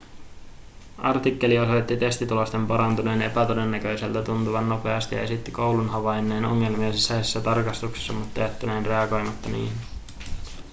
artikkeli osoitti testitulosten parantuneen epätodennäköiseltä tuntuvan nopeasti ja esitti koulun havainneen ongelmia sisäisissä tarkastuksissa mutta jättäneen reagoimatta niihin